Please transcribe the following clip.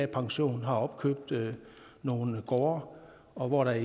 pension har opkøbt nogle gårde og hvor der